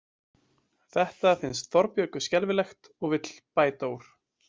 Þetta finnst Þorbjörgu skelfilegt og vill „bæta úr“.